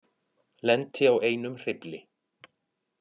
Lenti á einum hreyfli